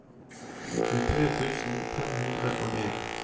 tjuetre tusen fem hundre og en